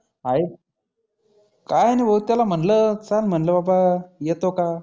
हाए काही नाही भो त्याला म्हटलं चल म्हटलं बाबा येतो का?